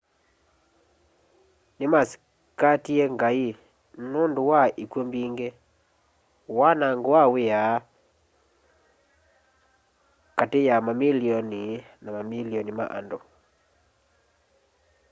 nimasikatie ngai nundũ wa ikw'ũ mbingi wanango na wia kati ya mamilioni na mamilioni ma andũ